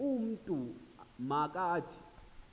umntu ma kathi